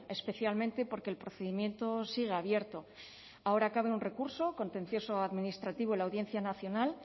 especialmente porque el procedimiento sigue abierto ahora cabe un recurso contencioso administrativo en la audiencia nacional